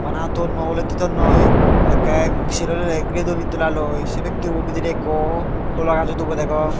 bana tonnoi olottey tonnoi ekke sarow hitedi giray don eddolaloi sey pectory bidirey ekko holagajo dubo degong.